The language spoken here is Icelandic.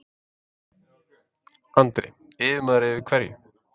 Andri: Yfirmaður yfir hverju?